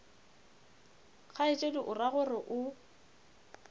kgaetšedi o ra gore o